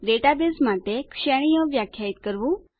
database માટે શ્રેણીઓ વ્યાખ્યાયિત કરવું